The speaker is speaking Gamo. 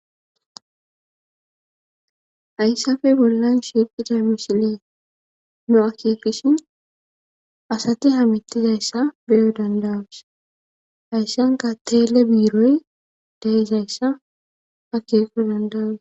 Hayssafe bollan shiiqida misile nu akeekishin asati hamettizayssa beyo dandawusa hayssanka tele biiroy daizayssa akeeqo dandawus